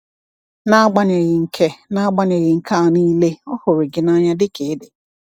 N’agbanyeghị nke N’agbanyeghị nke a niile, Ọ hụrụ gị n’anya dị ka ị dị.